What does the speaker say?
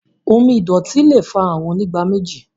omí ìdòtí lẹ fà Àrùn Onígbáméjì.